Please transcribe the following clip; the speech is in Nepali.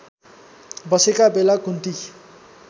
बसेको बेला कुन्ती